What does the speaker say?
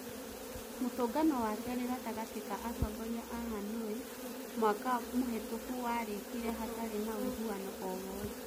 Mũtũngano wakĩrĩ gatagati ka atongoria a Hanũi mwaka mũhĩtũku warĩkirĩ hatarĩ na ũiguano o wothe